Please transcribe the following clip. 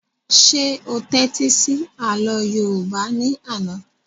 Ṣé o tẹ́tí sí àlọ́ yóòbá ní àná?